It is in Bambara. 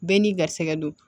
Bɛɛ n'i garisɛgɛ don